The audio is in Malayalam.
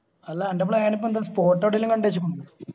അല്ല അന്റ plan ഇപ്പൊ എന്താ spot എവിടേലും കണ്ട് വെച്ചക്കുന്നോ